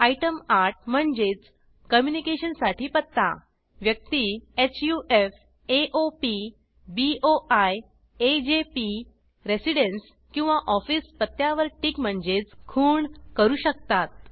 item 8 म्हणजेच communication साठी पत्ता व्यक्ती हफ्स एओपी बोई एजेपी Residenceरेसिडेन्स किंवा Officeऑफीस पत्त्यावर टिक म्हणजेच खूण करू शकतात